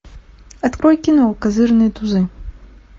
открой кино козырные тузы